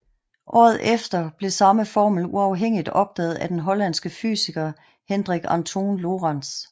Året efter blev samme formel uafhængigt opdaget af den hollandske fysiker Hendrik Antoon Lorentz